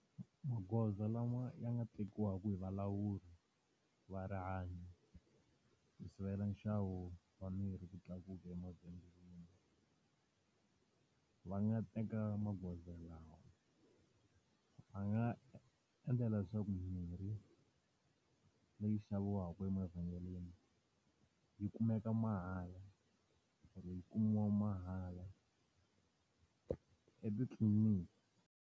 Magoza lama ya nga tekiwaka hi valawuri va rihanyo ku sivela nxavo wa mirhi ku tlakuka emavhengeleni, va nga teka magoza lawa. Va nga endlela leswaku mimirhi leyi xaviwaka emavhengeleni yi kumeka mahala or-i yi kumiwa mahala etitliliniki.